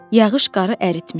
Yağış qarı əritmişdi.